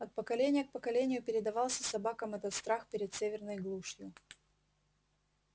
от поколения к поколению передавался собакам этот страх перед северной глушью